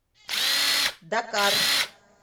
дакар